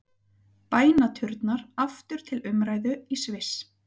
Bænaturnar aftur til umræðu í Sviss